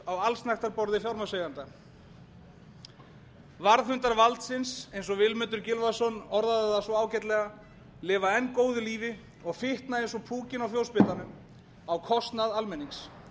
á allsnægtaborði fjármagnseigenda varðhundar valdsins eins og vilmundur gylfason orðaði það svo ágætlega lifa enn góðu lífi og fitna eins og púkinn á fjósbitanum á kostnað almennings